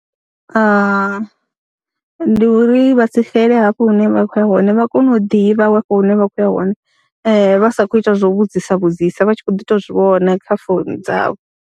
Ndi uri vha si xele hafho hune vha khou ya hone, vha kone u ḓivha hafho hune vha khou ya hone, vha sa khou ita zwo u vhudzisa vhudzisa vha tshi khou ḓi tou zwi vhona kha founu dzavho.